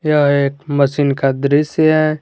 यह एक मशीन का दृश्य है।